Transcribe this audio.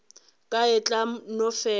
ka e tla no fela